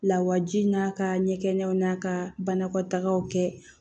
Lawaji n'a ka ɲɛkɛnɲɛnw n'a ka banakɔtagaw kɛ